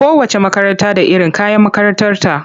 Kowacce makaranta da iron kayan makarantarta.